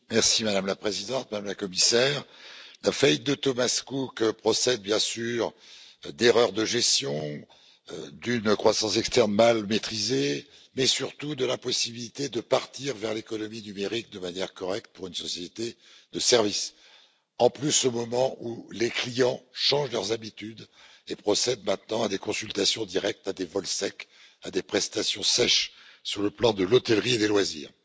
Madame la Présidente, Madame la Commissaire, la faillite de Thomas Cook procède bien sûr d'erreurs de gestion, d'une croissance externe mal maîtrisée, mais surtout de l'impossibilité de partir vers l'économie numérique de manière correcte pour une société de services, qui plus est, au moment où les clients changent leurs habitudes et procèdent maintenant à des consultations directes, à des vols secs, à des prestations sèches sur le plan de l'hôtellerie et des loisirs.